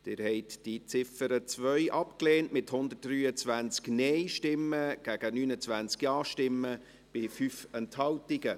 Sie haben die Ziffer 2 abgelehnt, mit 123 Nein- gegen 29 Ja-Stimmen bei 5 Enthaltungen.